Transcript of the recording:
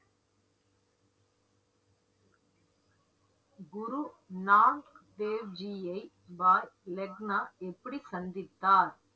குரு நானக் தேவ்ஜியை பாய் லெக்னா எப்படி சந்தித்தார்